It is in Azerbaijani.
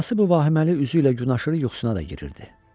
Anası bu vahiməli üzü ilə gün aşırı yuxusuna da girirdi.